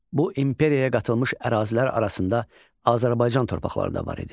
Bu imperiyaya qatılmış ərazilər arasında Azərbaycan torpaqları da var idi.